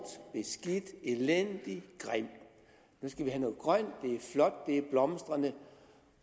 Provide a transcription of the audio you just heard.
beskidt elendig grim nu skal vi have noget grøn energi er flot det er blomstrende